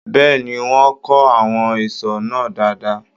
Bẹ́ẹ̀ni, wọ́n kó àwọn ìṣó náà dáadáa.